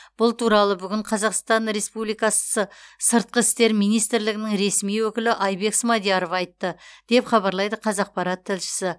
бұл туралы бүгін қазақстан республикасы сыртқы істер министрлігінің ресми өкілі айбек смадияров айтты деп хабарлайды қазақпарат тілшісі